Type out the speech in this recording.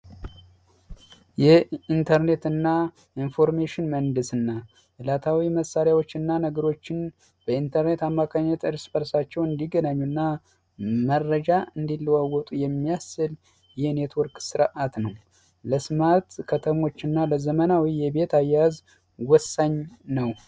ኢንተርኔትና ኢንፎርሜሽን መንደስና እላታዊ መሳሪያዎችና ነገሮችን በኢንተርኔት አማካኝ መረጃ እንዲለወጡ የሚያስል የኔትወርክ ስርዓት ነው ለስምዐ ከተሞችና ለዘመናዊ የቤት አያያዝ ወሳኝ ነው